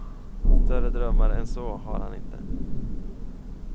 Större drömmar än så har han inte.